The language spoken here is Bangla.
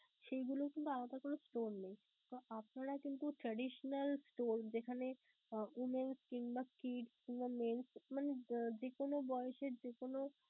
সেইগুলো কিংবা আলাদা কোন store নেই. তো আপনারা কিন্তু traditional store যেখানে womens কিংবা kids কিংবা men মানে যে কোন বয়সের যে কোন